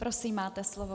Prosím, máte slovo.